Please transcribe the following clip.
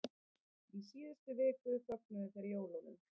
Í síðustu viku fögnuðu þeir jólum.